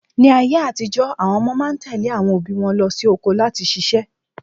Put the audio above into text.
Ní ayé àtijó, àwọn ọmọ máa ń tèlé àwọn òbí wọn lọ sí oko láti ṣiṣẹ́